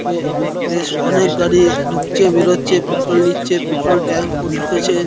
এ বেশ অনেক গাড়ি ঢুকছে বেরোচ্ছে পেট্রোল নিচ্ছে। পেট্রোল ট্যাঙ্ক -ও ঢুকেছে।